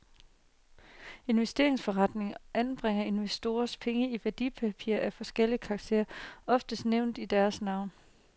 Investeringsforeningerne anbringer investorernes penge i værdipapirer af forskellig karakter, ofte nævnt i deres navn.